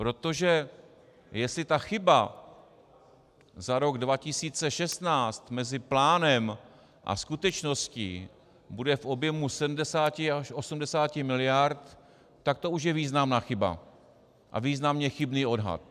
Protože jestli ta chyba za rok 2016 mezi plánem a skutečností bude v objemu 70 až 80 miliard, tak to už je významná chyba a významně chybný odhad.